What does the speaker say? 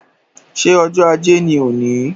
Ṣé ọjọ́ ajé ni òní?